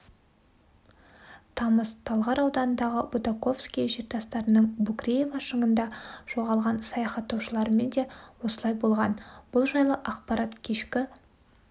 тамыз талғар ауданындағы бутаковское жартастарының букреева шыңында жоғалған саяхаттаушылармен де осылай болған бұл жайлы ақпарат кешкі